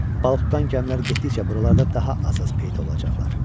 Balıqdan gəmilər getdikcə buralarda daha az-az peyda olacaqlar.